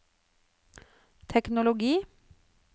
teknologi